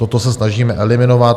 Toto se snažíme eliminovat.